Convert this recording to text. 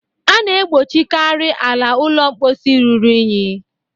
A na-egbochikarị ala ụlọ mposi ruru unyi